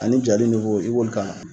Ani jali i b'olu k'a la